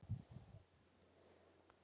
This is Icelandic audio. Fúsi er að hrekkja